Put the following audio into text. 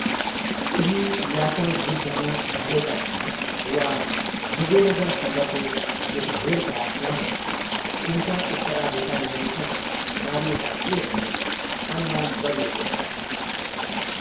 उनी या त युद्धमा ढलेका थिए वा विजयनगरसँगको मुठभेडका क्रममा उनका उत्तराधिकारीहरूसँगै मारिएका थिए भन्ने अनुमान गरिएको छ।